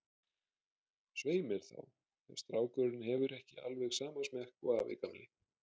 Svei mér þá, ef strákurinn hefur ekki alveg sama smekk og afi gamli.